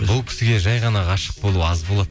бұл кісіге жай ғана ғашық болу аз болады